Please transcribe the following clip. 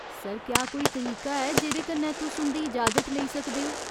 Sir, क्या कोई तरीका है जेह्दे कन्नै तुस उं'दी इजाजत लेई सकदे ओ ?